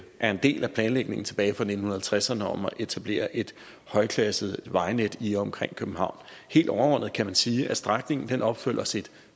er en del af planlægningen tilbage fra nitten halvtredserne om at etablere et højklassevejnet i og omkring københavn helt overordnet kan man sige at strækningen opfylder sit